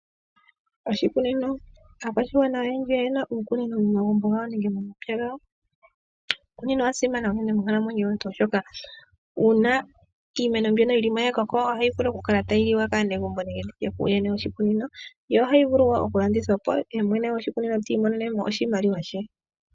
Oshikunino Aakwashigwana oyendji oye na uukunino momagumbo gawo nenge momapya gawo. Uukunino owa simana monkalamwenyo yomuntu, oshoka uuna iimeno mbi yili mo ya koko, ohayi vulu oku kala tayi liwa kaantu nenge nditye kumwene goshikunino, yo ohayi vulu oku landithwa po, ye mwene gwoshikunino ti imonene mo oshimaliwa.